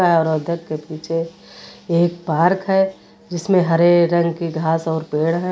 के पीछे एक पार्क है जिसमें हरे रंग की घास और पेड़ हैं।